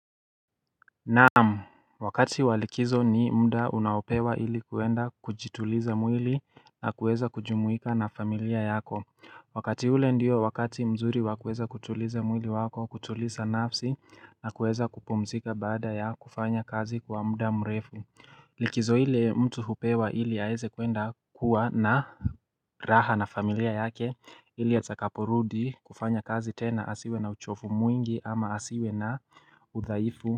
Naamu Wakati walikizo ni mda unaopewa ilikuenda kujituliza mwili na kueza kujumuika na familia yako Wakati ule ndio wakati mzuri wakueza kutuliza mwili wako kutuliza nafsi na kueza kupumzika baada ya kufanya kazi kwa muda mrefu Likizo ile mtu hupewa ili aeze kuenda kuwa na raha na familia yake ili atakaporudi kufanya kazi tena asiwe na uchovu mwingi ama asiwe na uthaifu.